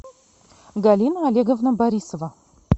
галина олеговна борисова